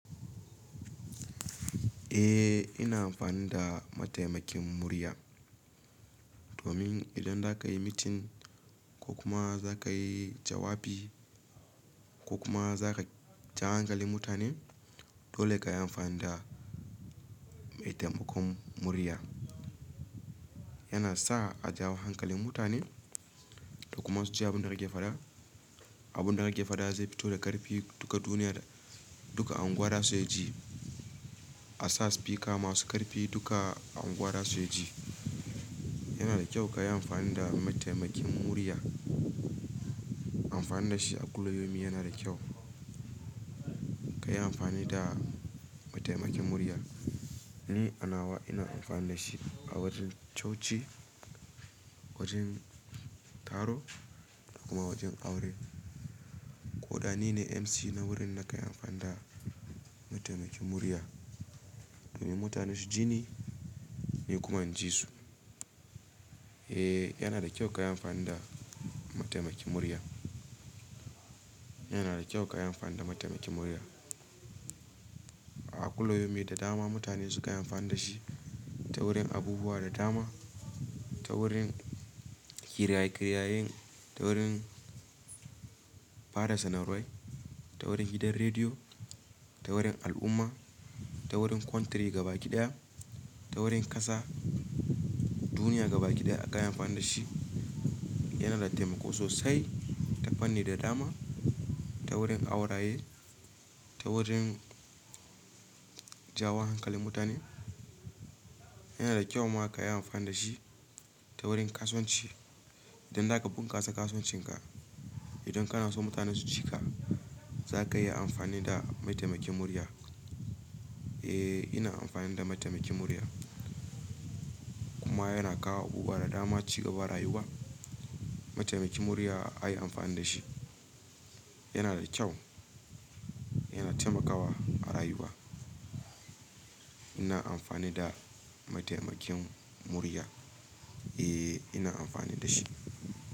Eh ina amfani da mataimakin murya domin idan za ka yi meeting ko kuma za ka yi jawabi ko kuma za ka ja hankalin mutane dole ka yi amfani da maitemakon murya. Yana sa a jawo hankalin mutane da kuma su ji abun da kake faɗa. Abun da kake faɗa zai fito da ƙarfi duka duniya duka anguwa zasu iya ji. A sa spika masu ƙarfi duka a unguwa zasu iya ji. Yana da kyau ka yi amfani da mataimakin murya. Amfani da shi a kullu yomin yana da kyau. Ka yi amfani da mataimakin murya. Ni anawa ina amfani da shi a wajen coci, wajen taro da kuma wajen aure. Ko da ni ne MC na wurin na kan yi amfani da mataimakin murya domin mutane su ji ni, ni kuma in ji su. Eh yana da kyau ka yi amfani da mataimakin murya. Yana da kyau ka yi amfani da mataimakin murya. A kulla yomi da dama mutane sukanyi amfani da shi ta wurin abubuwa da dama, ta wurin kiraye-kirayen, ta wurin fara sanarwai, ta wurin gidan rediyo, ta wurin al'umma, ta wurin country gabaki ɗaya, ta wurin ƙasa, duniya gabaki ɗaya akan yi amfani da shi. Yana da taimako sosai ta fanni da dama, ta wurin auraye, ta wurin jawo hankalin mutane. Yana da kyau ma ka yi amfani da shi ta wurin kasuwanci idan za ka bunƙasa kasuwancinka. Idan kana so mutane su ji ka za ka iya amfani da mataimakin murya. Eh ina amfani da mataimakin murya. Kuma yana kawo abubuwa da dama cigaban rayuwa. Mataimakin murya a yi amfani da shi. Yana da kyau, yana taimakawa a rayuwa. Ina amfani da mataimakin murya. Eh ina amfani da shi.